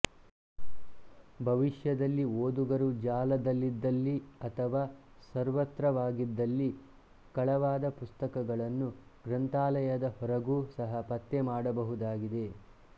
ಭವಿಷ್ಯದಲ್ಲಿ ಓದುಗರು ಜಾಲದಲ್ಲಿದ್ದಲ್ಲಿ ಅಥವಾ ಸರ್ವತ್ರವಾಗಿದ್ದಲ್ಲಿ ಕಳವಾದ ಪುಸ್ತಕಗಳನ್ನು ಗ್ರಂಥಾಲಯದ ಹೊರಗೂ ಸಹ ಪತ್ತೆ ಮಾಡಬಹುದಾಗಿದೆ